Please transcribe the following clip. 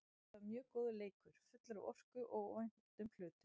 Þeta var mjög góður leikur, fullur af orku og óvæntum hlutum.